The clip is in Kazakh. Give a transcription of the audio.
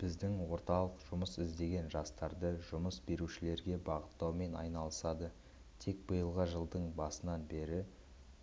біздің орталық жұмыс іздеген жастарды жұмыс берушілерге бағыттаумен айналысады тек биылғы жылдың басынан бері